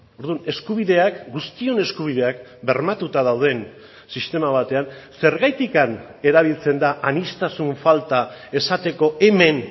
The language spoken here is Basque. orduan eskubideak guztion eskubideak bermatuta dauden sistema batean zergatik erabiltzen da aniztasun falta esateko hemen